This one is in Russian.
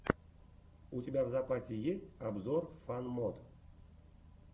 у тебя в запасе есть обзор фан мод